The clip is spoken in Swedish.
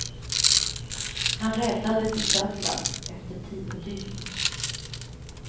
Han räddades i söndags efter tio dygn.